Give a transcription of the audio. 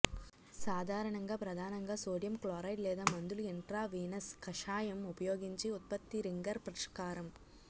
సాధారణంగా ప్రధానంగా sodium chloride లేదా మందులు ఇంట్రావీనస్ కషాయం ఉపయోగించి ఉత్పత్తి రింగర్ పరిష్కారం